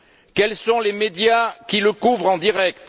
Quels sont les médias qui le couvrent en direct?